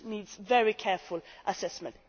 This needs very careful assessment.